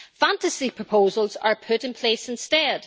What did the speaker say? Fantasy proposals are put in place instead.